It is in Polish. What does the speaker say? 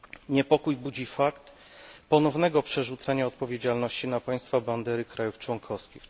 Niepokój budzi fakt ponownego przerzucenia odpowiedzialności na państwa bandery krajów członkowskich.